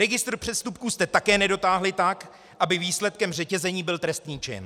Registr přestupků jste také nedotáhli tak, aby výsledkem řetězení byl trestný čin.